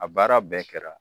A baara bɛɛ kɛra.